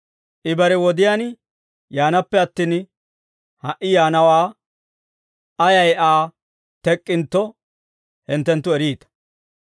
I bare wodiyaan yaanaappe attin, ha"i yaanawaa ayay Aa tek'k'intto, hinttenttu eriita.